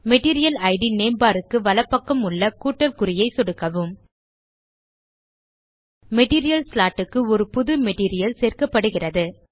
material it name bar க்கு வலப்பக்கம் உள்ள கூட்டல் குறியைச் சொடுக்கவும் மெட்டீரியல் ஸ்லாட் க்கு ஒரு புது மெட்டீரியல் சேர்க்கப்படுகிறது